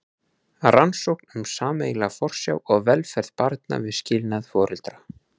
Rannsókn um sameiginlega forsjá og velferð barna við skilnað foreldra.